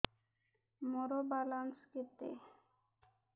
ମୋର ବାଲାନ୍ସ କେତେ